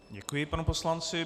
Děkuji panu poslanci.